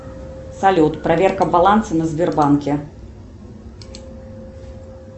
салют проверка баланса на сбербанке